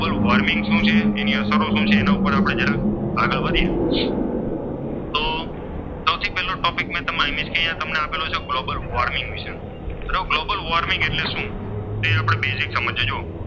Global warming શું છે તેની અસરો શું છે? તેના ઉપર આપણે જરાક આગળ વધીએ તો તો સૌથી પહેલો ટોપિક અહીં આપેલો છે તે ગ્લોબલ વોર્મિંગ વિશેનો. ગ્લોબલ વોર્મિંગ એટલે શું? તે આપણે બેઝિક સમજીએ જુઓ.